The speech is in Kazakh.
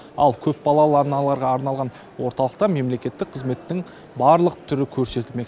ал көпбалалы аналарға арналған орталықта мемлекеттік қызметтің барлық түрі көрсетілмек